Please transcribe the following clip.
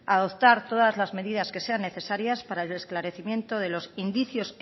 a adoptar todas las medidas que sean necesarias para esclarecimiento de los indicios